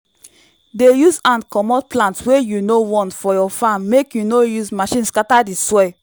dey use hand comot plant wey you no want for your farm make you no use machine scatter the soil